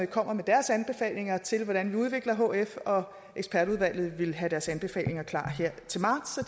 kommer med deres anbefalinger til hvordan vi skal udvikle hf ekspertudvalget vil have deres anbefalinger klar her til marts